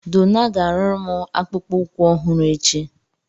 Donna ga-arụrụ m akpụkpọ ụkwụ ọhụrụ echi